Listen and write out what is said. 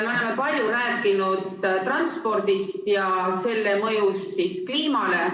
Me oleme palju rääkinud transpordist ja selle mõjust kliimale.